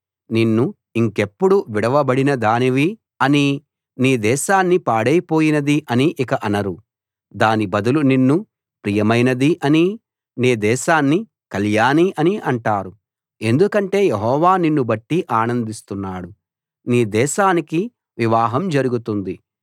నిన్ను ఇంకెప్పుడూ విడువబడిన దానివి అనీ నీ దేశాన్ని పాడైపోయినది అనీ ఇక అనరు దాని బదులు నిన్ను ప్రియమైనది అనీ నీ దేశాన్ని కళ్యాణి అనీ అంటారు ఎందుకంటే యెహోవా నిన్నుబట్టి ఆనందిస్తున్నాడు నీ దేశానికి వివాహం జరుగుతుంది